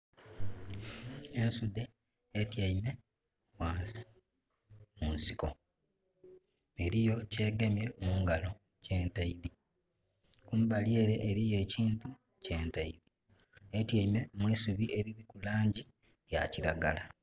Ensudhe etyaime ghansi mu nsiko. Eliyo kyegemye mungalo kyentaidhi. Kumbali ele eliyo ekintu kyentaidhi. Etyaime mu isubi eliriku laangi ya kiragala.